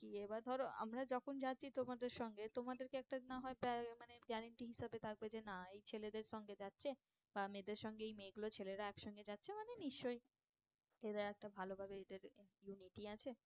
কি এবার ধরো আমরা যখন যাচ্ছি তোমাদের সঙ্গে তোমাদেরকে একটা না হয় মানে guarantee হিসাবে থাকবে যে না এই ছেলেদের সঙ্গে যাচ্ছে বা মেয়েদের সঙ্গে এই মেয়ে গুলো ছেলেরা এক সঙ্গে যাচ্ছে মানে নিশ্চই এরা একটা ভালো ভাবে এদের unity আছে